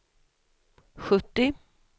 sjuttio